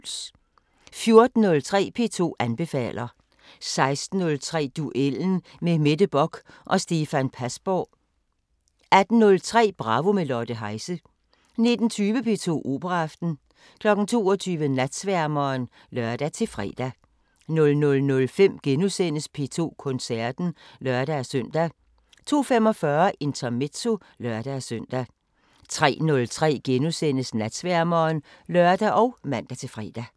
14:03: P2 anbefaler 16:03: Duellen med Mette Bock og Stefan Pasborg 18:03: Bravo – med Lotte Heise 19:20: P2 Operaaften 22:00: Natsværmeren (lør-fre) 00:05: P2 Koncerten *(lør-søn) 02:45: Intermezzo (lør-søn) 03:03: Natsværmeren *(lør og man-fre)